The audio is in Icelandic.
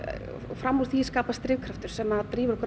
fram úr því skapast drifkraftur sem að drífur okkur